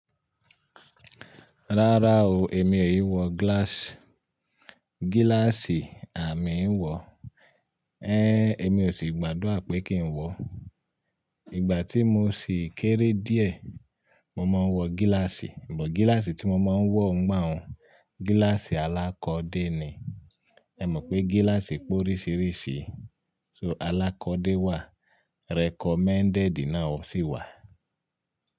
Rárá o, èmi ò ì wọ glass. Gíláàsì à mi ń wọ? Ẹ́n, èmi ò sì gbàdúrà pé kí ń wọ. Ìgbà tí mo ṣì kéré díẹ̀, mo máa ń wọ gíláàsì, amò gíláàsì tí mo máa ń wọ ńgbà un, gíláàsì alákọ́de ni. Ẹ mọ̀ pé gíláàsì pé oríṣiríṣi, so alákọ́de wà, recommended náà sì wà.